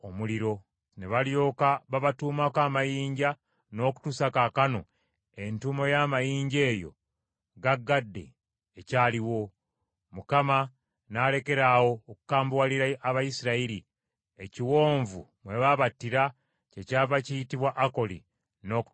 Ne balyoka babatuumako amayinja, n’okutuusa kaakano entuumu y’amayinja eyo gagadde ekyaliwo. Mukama n’alekera awo okukambuwalira Abayisirayiri, ekiwonvu mwe babattira kyekyava kiyitibwa Akoli n’okutuusa kaakano.